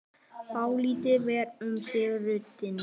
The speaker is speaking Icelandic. Dálítið var um sig í röddinni.